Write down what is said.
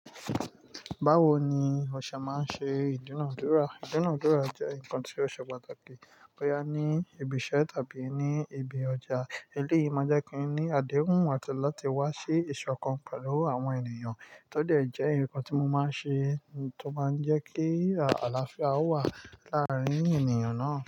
Báwo ni ọ̀ṣọ́ máa ń ṣe ìdúnàádúrà? Ìdúnàádúrà jẹ́ nǹkan tí ó ṣe pàtàkì bóyá ní ibi iṣẹ́ tàbí ní ibi ọjà. Eléyìí máa n jẹ́ kí ni àdéhùn àti láti wá sí ìṣọ̀kan pẹ̀lú àwọn ènìyàn. Tó de jẹ́ ǹkan tí mo máa ń ṣe tó máa ń jẹ́ kí àlàáfíà wà láàárín ènìyàn náà.